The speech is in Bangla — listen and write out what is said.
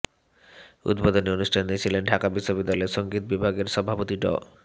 উদ্বোধনী অনুষ্ঠানে ছিলেন ঢাকা বিশ্ববিদ্যালয়ের সঙ্গীত বিভাগের সভাপতি ড